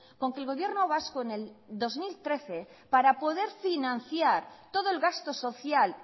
con que el gobierno vasco en el dos mil trece para poder financiar todo el gasto social